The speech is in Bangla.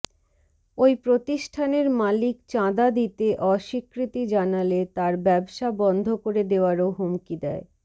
ওই প্রতিষ্ঠানের মালিক চাঁদা দিতে অস্বীকৃতি জানালে তারা ব্যবসা বন্ধ করে দেয়ারও হুমকি দেয়